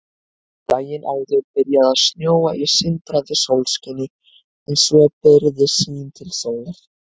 Daginn áður byrjaði að snjóa í sindrandi sólskini en svo byrgði sýn til sólar.